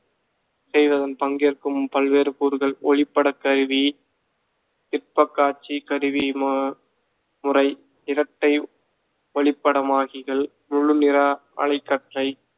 செய்வதன் பங்கேற்கும் பல்வேறு கூறுகள் ஒளிப்படக்கருவி, திட்பக்காட்சிக் கருவி ம~ முறை இரட்டை ஒளிப்படமாகிகள் முழு நிரா அலைக்கற்றை